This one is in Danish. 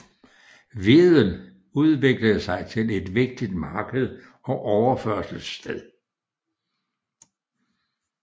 Wedel udviklede sig til en vigtigt marked og overførselssted